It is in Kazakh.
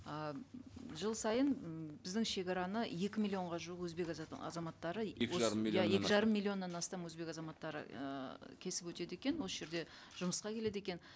ы жыл сайын м біздің шегараны екі миллионға жуық өзбек азаматтары екі жарым миллионнан иә екі жарым миллионнан астам өзбек азаматтары ыыы кесіп өтеді екен осы жерде жұмысқа келеді екен